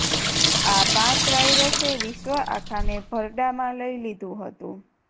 આ પાંચ વાઇરસે વિશ્વ આખાને ભરડામાં લઈ લીધું હતું